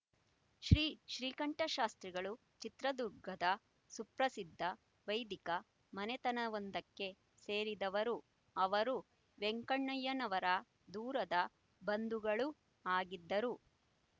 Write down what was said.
ಶ್ರೀ ಶ್ರೀಕಂಠಶಾಸ್ತ್ರಿಗಳು ಚಿತ್ರದುರ್ಗದ ಸುಪ್ರಸಿದ್ಧ ವೈದಿಕ ಮನೆತವೊಂದಕ್ಕೆ ಸೇರಿದವರು ಅವರು ವೆಂಕಣ್ಣಯ್ಯನವರ ದೂರದ ಬಂಧುಗಳೂ ಆಗಿದ್ದರು